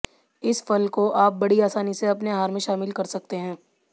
इस फल को आप बड़ी आसानी से अपने आहार में शामिल कर सकते हैं